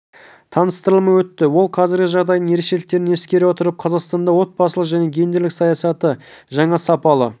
таныстырылымы өтті ол қазіргі жағдайдың ерекшеліктерін ескере отырып қазақстанда отбасылық және гендерлік саясатты жаңа сапалы